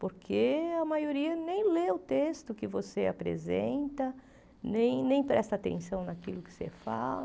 Porque a maioria nem lê o texto que você apresenta, nem nem presta atenção naquilo que você fala.